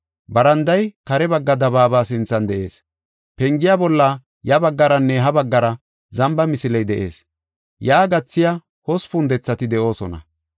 Baranday kare bagga dabaaba sinthan de7ees. Pengiya bolla ya baggaranne ha baggara zamba misiley de7ees. Yaa gathiya hospun dethati de7oosona.